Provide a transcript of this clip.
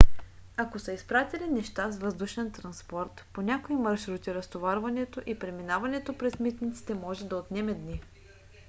ако са изпратили неща с въздушен транспорт по някои маршрути разтоварването и преминаването през митниците може да отнеме дни